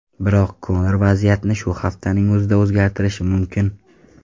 Biroq Konor vaziyatni shu haftaning o‘zida o‘zgartirishi mumkin.